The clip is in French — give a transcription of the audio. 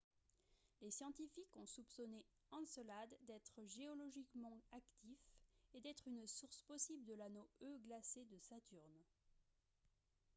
les scientifiques ont soupçonné encelade d'être géologiquement actif et d'être une source possible de l'anneau e glacé de saturne